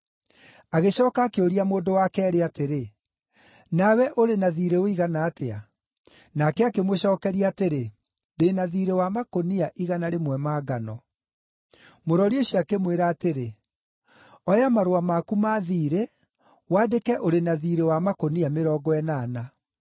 “Agĩcooka akĩũria mũndũ wa keerĩ atĩrĩ, ‘Na we ũrĩ na thiirĩ ũigana atĩa?’ “Nake akĩmũcookeria atĩrĩ, ‘Ndĩ na thiirĩ wa makũnia igana rĩmwe ma ngano.’ “Mũrori ũcio akĩmwĩra atĩrĩ, ‘Oya marũa maku ma thiirĩ wandĩke ũrĩ na thiirĩ wa makũnia mĩrongo ĩnana.’